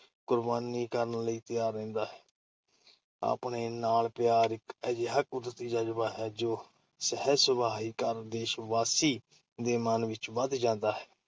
ਕੁਰਬਾਨੀ ਕਰਨ ਲਈ ਤਿਆਰ ਰਹਿੰਦਾ ਹੈ। ਆਪਣੇ ਨਾਲ ਪਿਆਰ ਇੱਕ ਅਜਿਹਾ ਕੁਦਰਤੀ ਜ਼ਜ਼ਬਾ ਹੈ ਜੋ ਸਹਿਜ-ਸੁਭਾਅ ਹੀ ਹਰ ਦੇਸ਼ਵਾਸੀ ਦੇ ਮਨ ਵਿੱਚ ਵੱਸ ਜਾਂਦਾ ਹੈ।